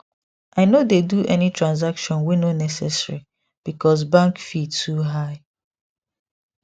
i no dey do any transaction wey no necessary because bank fee too high